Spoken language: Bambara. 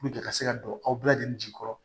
ka se ka don aw bɛɛ lajɛlen jigi kɔrɔ